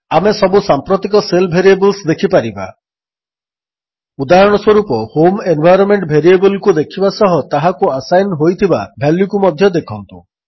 ଆମେ ସବୁ ସାମ୍ପ୍ରତିକ ଶେଲ୍ ଭେରିଏବଲ୍ସ ଦେଖିପାରିବା ଉଦାହରଣସ୍ୱରୂପ ହୋମ୍ ଏନ୍ଭାଇରୋନ୍ମେଣ୍ଟ ଭେରିଏବଲ୍କୁ ଦେଖିବା ସହ ତାହାକୁ ଆସାଇନ୍ ହୋଇଥିବା ଭାଲ୍ୟୁକୁ ମଧ୍ୟ ଦେଖନ୍ତୁ